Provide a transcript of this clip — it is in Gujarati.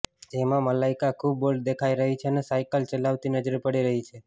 જેમા મલાઇકા ખૂબ બોલ્ડ દેખાય રહી છે અને સાયકલ ચલાવતી નજરે પડી રહી છે